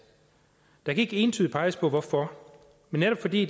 der kan ikke entydigt peges på hvorfor men netop fordi